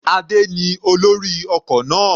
Adé ní olórí ọkọ̀ náà.